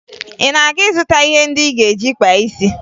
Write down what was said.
Ị na-aga ịzụta ihe ndị ị ga-eji kpaa isi?